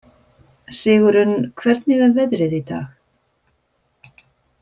Sigurunn, hvernig er veðrið í dag?